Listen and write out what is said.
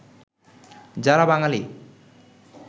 যারা বাঙালী